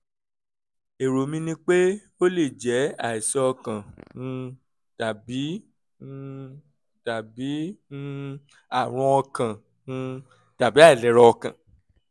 èrò mi ni pé ó lè jẹ́ àìsàn ọkàn um tàbí um tàbí um àrùn ọkàn um tàbí àìlera ọkàn